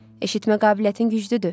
Eşitmə qabiliyyətin güclüdür.